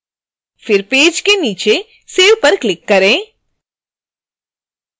फिर पेज के नीचे save पर क्लिक करें